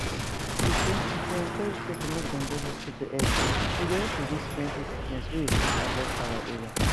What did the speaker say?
true true if we encourage people make dem go hospital early e go help reduce plenty sickness wey we fit avoid for our area